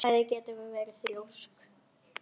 Bæði getum við verið þrjósk.